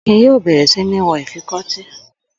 Akin yóò bẹ̀rẹ̀ sí mi wọ ìfikọ́tí.